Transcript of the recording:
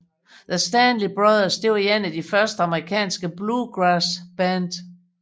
The Stanley Brothers var et af de første amerikanske bluegrassband